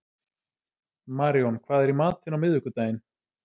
Maríon, hvað er í matinn á miðvikudaginn?